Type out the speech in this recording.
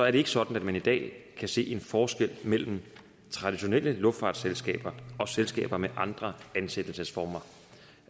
ikke sådan at man i dag kan se en forskel mellem traditionelle luftfartsselskaber og selskaber med andre ansættelsesformer det